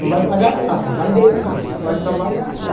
Não vai pagar nada, vai ganhar, vai trabalhar né.